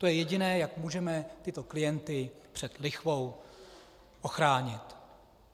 To je jediné, jak můžeme tyto klienty před lichvou ochránit.